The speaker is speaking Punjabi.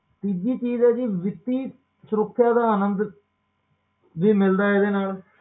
ਤੀਜੀ ਚੀਜ਼ ਹੈ ਜੀ ਵਿੱਤੀ ਸੁਰੱਖਿਆ ਦਾ ਆਨੰਦ ਵੀ ਮਿਲਦਾ ਹੈ ਇਹਦੇ ਨਾਲ